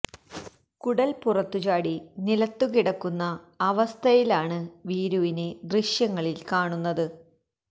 കുടൽ പുറത്തു ചാടി നിലത്തു കിടക്കുന്ന അവസ്ഥയിലാണ് വീരുവിനെ ദൃശ്യങ്ങളിൽ കാണുന്നത്